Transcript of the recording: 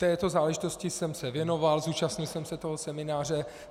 Této záležitosti jsem se věnoval, zúčastnil jsem se toho semináře.